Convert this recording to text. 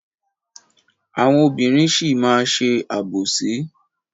Àwọn obìnrin sì máa má ṣe àbòsí.